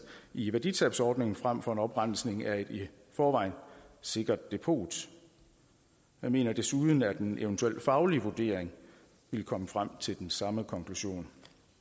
i værditabsordningen frem for en oprensning af et i forvejen sikkert depot vi mener desuden at en eventuel faglig vurdering ville komme frem til den samme konklusion